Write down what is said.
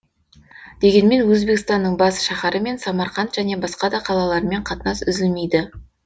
дегенмен өзбекстанның бас шаһары мен самарқан және басқа да қалалармен қатынас үзілмейді